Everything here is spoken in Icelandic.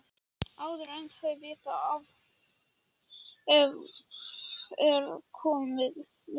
Áður en þau vita af er komið myrkur.